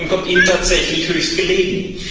COVID 19 kommt Ihnen tatsächlich höchst gelegen.